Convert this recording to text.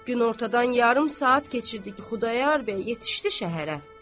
Günortadan yarım saat keçirdi ki, Xudayar bəy yetişdi şəhərə.